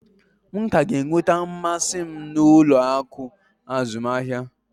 M ka ga-enweta mmasị m n'ụlọ akụ azụmahịa.